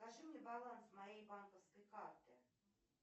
покажи мне баланс моей банковской карты